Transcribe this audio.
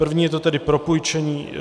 První je to tedy propůjčení